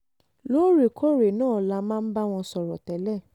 lóòrèkóòrè náà la máa ń bá wọn sọ̀rọ̀ tẹ́lẹ̀